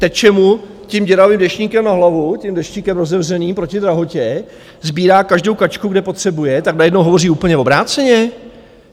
Teče mu tím děravým deštníkem na hlavu, tím deštíkem rozevřený proti drahotě, sbírá každou kačku, kde potřebuje, tak najednou hovoří úplně obráceně?